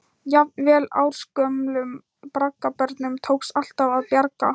Jafnvel ársgömlum braggabörnum tókst alltaf að bjarga.